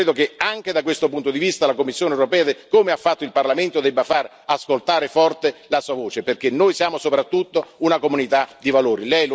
Io credo che anche da questo punto di vista, la Commissione europea, come ha fatto il Parlamento, debba far ascoltare forte la sua voce, perché noi siamo soprattutto una comunità di valori.